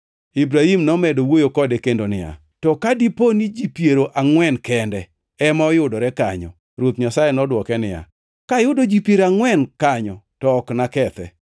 Ibrahim nomedo wuoyo kode kendo niya, “To ka dipo ni ji piero angʼwen kende ema oyudore kanyo?” Ruoth Nyasaye nodwoke niya, “Kayudo ji piero angʼwen kanyo, to ok nakethe.”